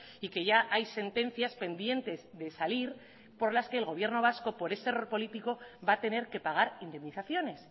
y que ya hay sentencias pendientes de salir por las que el gobierno vasco por ese error político va a tener que pagar indemnizaciones